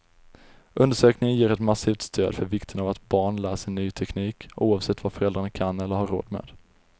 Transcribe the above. Undersökningen ger ett massivt stöd för vikten av att barn lär sig ny teknik, oavsett vad föräldrarna kan eller har råd med.